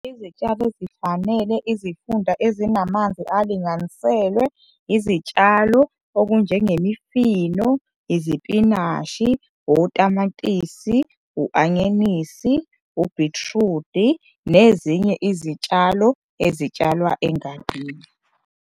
Izitshalo ezifanele izifunda ezinamanzi alinganiselwe izitshalo okunjengemifino, izipinashi, otamatisi, u-anyanisi, ubhithrudi nezinye izitshalo ezitshalwa engadini.